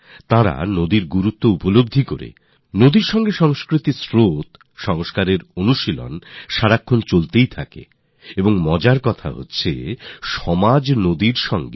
তাঁরা নদীগুলির গুরুত্ব বুঝেছেন এবং সমাজে নদীগুলির প্রতি ইতিবাচক ভাব কিভাবে জন্ম নেবে একটি সংস্কার কিভাবে রচিত হবে নদীর সঙ্গে সংস্কৃতির ধারা নদীর সঙ্গে সংস্কারের ধারা নদীর সঙ্গে সমাজকে যুক্ত করার প্রয়াস নিরন্তর চলে আসছে